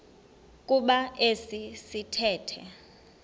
kuba esi sithethe